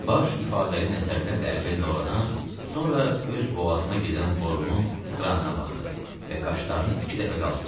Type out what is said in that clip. Baş ifadəli nəzərlərlə əvvəl Lorana, sonra öz boğazına gedən borunun kranına baxdı və qaşlarını iki dəfə qaldırdı.